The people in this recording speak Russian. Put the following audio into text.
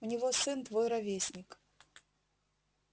у него сын твой ровесник